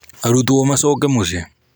Arutwo macoke muciĩ.